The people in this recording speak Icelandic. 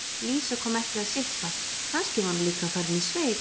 Lísa kom ekki að sippa, kannski var hún líka farin í sveit.